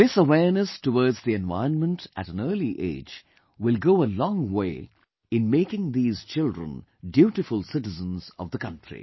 This awareness towards the environment at an early age will go a long way in making these children dutiful citizens of the country